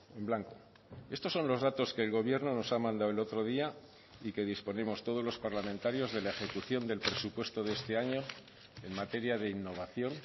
en blanco estos son los datos que el gobierno nos ha mandado el otro día y que disponemos todos los parlamentarios de la ejecución del presupuesto de este año en materia de innovación